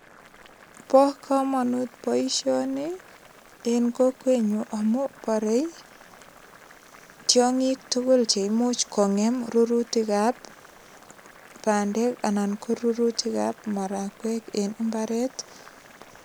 Bo kamanut boisioni en kokwenyun amu borei tiongik tugul che imuch kongem rurutik ab bandek anan ko rurutik ab marakwek en imbaret.